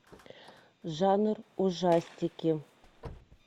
жанр ужастики